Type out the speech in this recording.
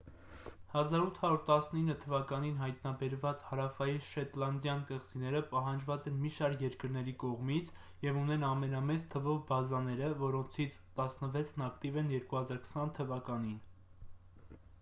1819 թ.-ին հայտնաբերված հարավային շետլանդյան կղզիները պահանջված են մի շարք երկրների կողմից և ունեն ամենամեծ թվով բազաները որոնցից տասնվեցն ակտիվ են 2020 թ.-ին։